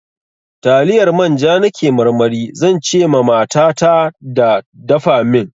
Taliyar manja na ke marmari, zan ce ma mata ta da dafa min.